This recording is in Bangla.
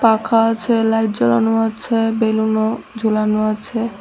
পাখা আছে লাইট জ্বলানো আছে বেলুনও ঝুলানো আছে।